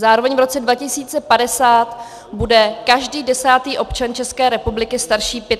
Zároveň v roce 2050 bude každý desátý občan České republiky starší 85 let.